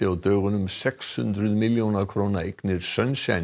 á dögunum sex hundruð milljóna króna eignir